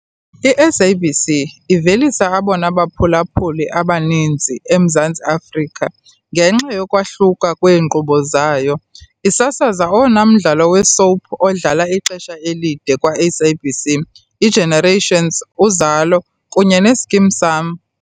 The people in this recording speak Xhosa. I-SABC 1 ivelisa abona baphulaphuli abaninzi eMzantsi Afrika ngenxa yokwahluka kweenkqubo zayo, isasaza owona mdlalo we-soap odlale ixesha elide kwaSABC, "iGenerations", "Uzalo" kunye "neSkeem Saam."